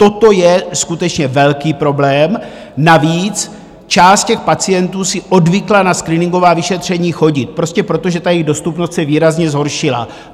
Toto je skutečně velký problém, navíc část těch pacientů si odvykla na screeningová vyšetření chodit, prostě proto, že jejich dostupnost se výrazně zhoršila.